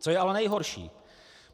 Co je ale nejhorší?